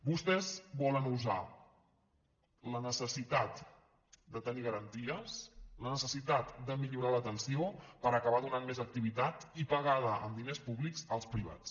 vostès volen usar la necessitat de tenir garanties la necessitat de millorar l’atenció per acabar donant més activitat i pagada amb diners públics als privats